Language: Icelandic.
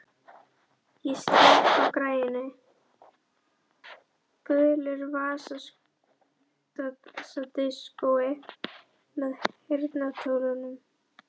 Ég slekk á græjunum, gulu vasadiskói með heyrnartólum.